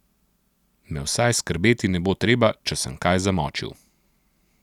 Me vsaj skrbeti ne bo treba, če sem kaj zamočil.